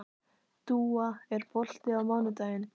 Dúa, er bolti á mánudaginn?